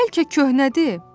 Bəlkə köhnədir?